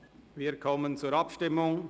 Wir kommen zur Abstimmung.